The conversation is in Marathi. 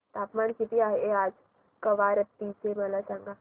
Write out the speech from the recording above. तापमान किती आहे आज कवारत्ती चे मला सांगा